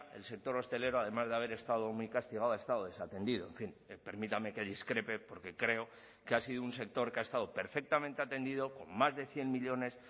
el sector hostelero además de haber estado muy castigado ha estado desatendido en fin permítame que discrepe porque creo que ha sido un sector que ha estado perfectamente atendido con más de cien millónes